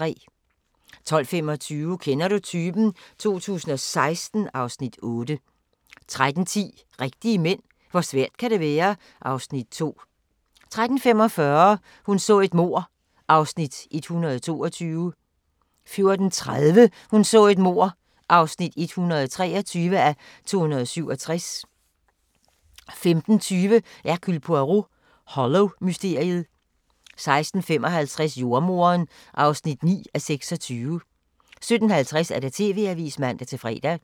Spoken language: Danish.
12:25: Kender du typen? 2016 (Afs. 8) 13:10: Rigtige mænd - hvor svært kan det være? (Afs. 2) 13:45: Hun så et mord (122:267) 14:30: Hun så et mord (123:267) 15:20: Hercule Poirot: Hollow-mysteriet 16:55: Jordemoderen (9:26) 17:50: TV-avisen (man-fre)